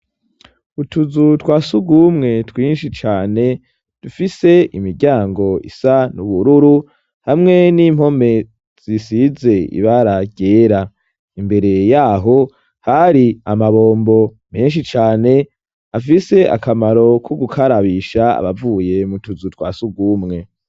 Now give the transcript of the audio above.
Utuzu twa surwumwe twinshi cane dufise imiryango isa n'ubururu hamwe n'impome zisize ibara ryera. Imbere yaho hari amabombo menshi cane, afise akamaro ku gukarabisha abavuye mutuzu twa surwumwe.